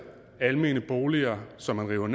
almene boliger som man river